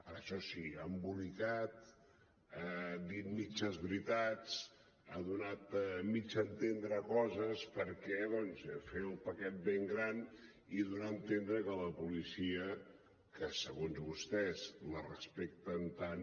ara això sí ha embolicat ha dit mitges veritat ha donat mig a entendre coses per doncs fer el paquet ben gran i donar a entendre que la policia que segons vostès la respecten tant